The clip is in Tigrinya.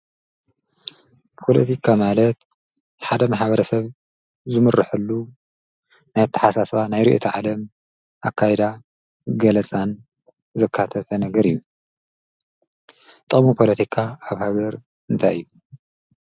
ጶሎቲካ ማለት ሓደም ሓብረ ሰብ ዝሙርሕሉ ናይተሓሳስባ ናይሪ እቲ ዓለም ኣካይዳ ገለሳን ዘካተ ተነግር እዩ ጠሙ ጶሎቲካ ኣብ ሃገር እንታይ ዩ።